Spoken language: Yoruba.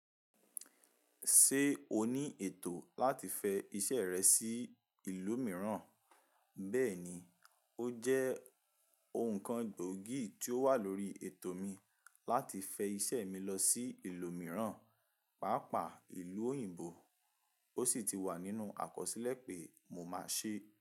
Ṣé o ní ètò láti fẹ iṣẹ́ rẹ sí ìlú mìíràn? Bẹ́ẹ̀ni, ó jẹ́ ohun kan gbòógì tí ó wà lórí ètò mi láti fẹ iṣẹ́ mi lọ sí ìlú mìíràn, pàápàá ìlú òyìnbó, ó sì ti wà nínú àkọsílẹ̀ pé mo máa ṣe.